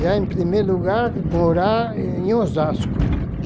Já, em primeiro lugar, morar em Osasco.